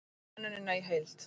Sjá könnunina í heild